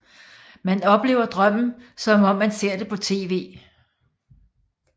Man oplever drømmen som om man ser det på tv